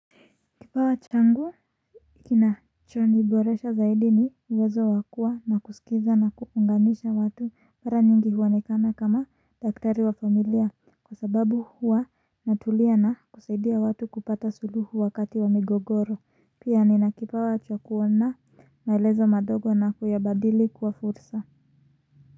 Kipawa changu kinachoniboresha zaidi ni uwezo wakuwa na kuskiza na kuunganisha watu mara nyingi huonekana kama daktari wa familia kwa sababu huwa natulia na kusaidia watu kupata suluhu wakati wa migogoro. Pia ninakipawa cha kuona maelezo madogo na kuyabadili kuwa fursa.